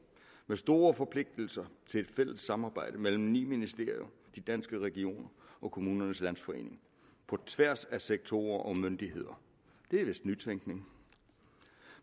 med store forpligtelser til et fælles samarbejde mellem ni ministerier danske regioner og kommunernes landsforening på tværs af sektorer og myndigheder det er vist nytænkning